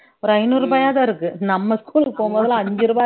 ஒரு ஐநூறு ரூபாயாதான் இருக்கு நம்ம school க்கு போகும்போது அஞ்சு ரூபாய்